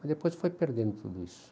Mas depois foi perdendo tudo isso.